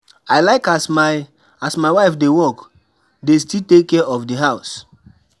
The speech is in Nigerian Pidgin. I like as my as my wife dey work, dey still take care of di house.